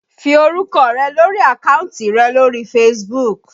Fi orúkọ rẹ lórí àkáǹtì rẹ lórí Facebook